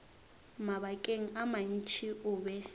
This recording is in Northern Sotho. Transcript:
mabakeng a mantši o be